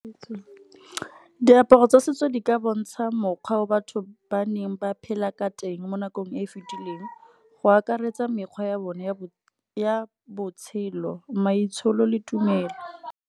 Diaparo tsa setso di ka bontsha mokgwa o batho ba neng ba phela ka teng mo nakong e e fetileng, go akaretsa mekgwa ya bone ya botshelo maitsholo le tumelo.